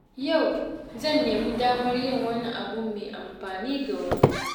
Yau, zan nemi damar yin wani abu mai amfani ga wani.